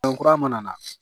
kura mana na